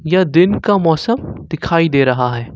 यह दिन का मौसम दिखाई दे रहा है।